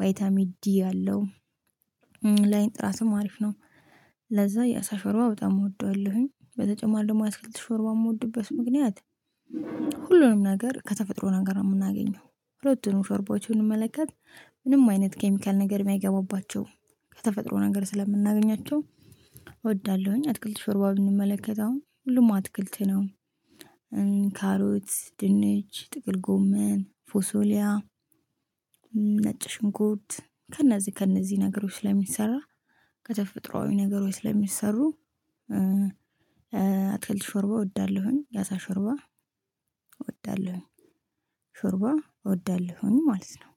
ቫይታሚ ዲ አለው። ላይን ጥራትም አሪፍ ነው። ለዛ የአሳ ሾርባ በጣም እወደዋለሁኝ በተጨማሪ ደግሞ የአትክልት ሾርባ የምወድበት ምክንያት ሁሉንም ነገር ከተፈጥሮ ነገር የምናገኘው ሁለቱንም ሾርቦች ብንመለከት ምንም አይነት ኬሚካል ነገር የማይገባባቸው ከተፈጥሮ ነገር ስለምናገኛቸው እወዳለሁኝ። አትክልት ሾርባ ብንመለከት አሁን ሁሉም አትክልት ነው። ካሮት ድንች ጥቅል ጎመን ፎሶሊያ ነጭ ሽንኩርት ከእነዚህ ከነዚህ ነገሮች ስለሚሰራ ከተፈጥሮአዊ ነገሮች ስለሚሰሩ አትክልት ሾርባ እወዳለሁኝ። ያዛ ሾርባ እወዳለሁኝ ሾርባ እወዳለሁኝ ማለት ነው